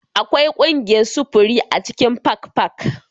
Akwai ƙungiyar sufuri a cikin Park Park